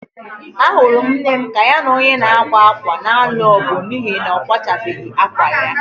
Ahụrụ m nne m ka ya na onye na-akwa akwa na-alụ ọgụ n'ihi na kwachabeghi akwa ya.